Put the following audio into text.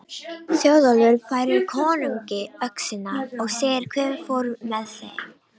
Þjóðólfur færir konungi öxina og segir hve fór með þeim.